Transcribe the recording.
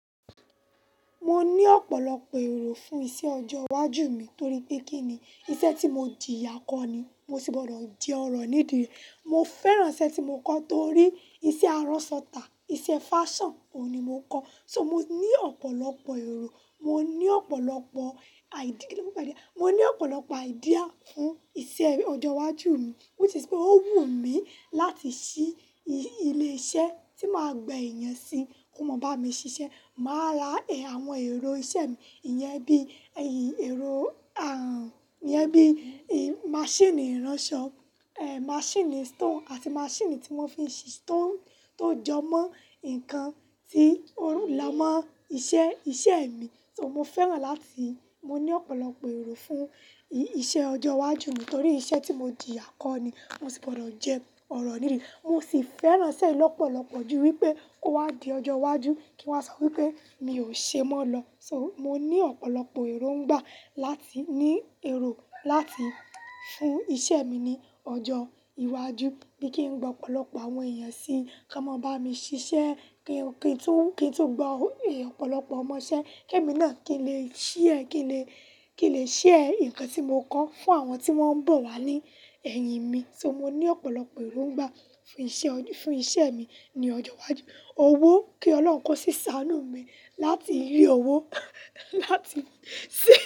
Mo ní ọ̀pọ̀lọpọ̀ èrò fún iṣẹ́ ọjọ́ iwájú mi torí pé kí ni iṣẹ́ tí mo jiyá kọ́ ni mo sì gbọdọ̀ jẹ ọ̀rọ̀ nídi rẹ̀. Mo fẹ́ràn iṣẹ́ tí mo kọ́ torí iṣẹ́ aránṣọ tà, iṣẹ́ fashion, òun ni mo kọ́. So mo ní ọ̀pọ̀lọpọ̀ èrò, mo ní ọ̀pọ̀lọpọ̀ idea, kí ni wọ́n ma npe idea, mo ní ọ̀pọ̀lọpọ̀ idea fún iṣẹ́ ọjọ́ iwájú mi which is pé ó wù mí láti ṣí ilé iṣẹ́ tí máa gbẹ ìyẹn síi kó mọ bá mi ṣiṣẹ́. Màá rá è àwọn èrò iṣẹ́ mi, ìyẹn bí èrò, ìyẹn bí máṣíìnì iránṣọ, máṣíìnì stone àti máṣíìnì tí wón fi ń ṣise, tó jọ mọ nǹkan tí ó ń lọmọ iṣẹ́, iṣẹ́ mi. So mo fẹ́ràn láti, mo ní ọ̀pọ̀lọpọ̀ èrò fún iṣẹ́ ọjọ́ iwájú mi torí iṣẹ́ tí mo jìyá kọ́ ni mo sì gbọdọ̀ jẹ ọ̀rọ̀ nídi rẹ̀. Mo sì fẹ́ràn iṣẹ́ lọ́pọ̀lọpọ̀ jù wípé kó wá di ọjọ́ iwájú kí wa sọ wípé mi ò ṣe mọ́ lọ. So mo ní ọ̀pọ̀lọpọ̀ èrò ń gbà láti ní èrò láti fún iṣẹ́ mi ní ọjọ́ iwájú bí kí n gba ọ̀pọ̀lọpọ̀ àwọn ẹ̀yẹn síí, kí wón máa bá mi ṣiṣẹ́, kí n tún gba ọ̀pọ̀lọpọ̀ ọmọṣẹ́ kí èmi náà, kí n lè, kí n lè share nǹkan tí mo kọ́ fún àwọn tí wón ń bọ̀ wá ní ẹ̀yìn mi. So mo ní ọ̀pọ̀lọpọ̀ èrò ń gbà fún iṣẹ́, fún iṣẹ́ mi ní ọjọ́ iwájú. Owó, kí Ọlọ́run kó ṣí sáànú mi láti rí owó, láti ṣe.